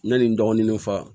N ɲe n dɔgɔninw fa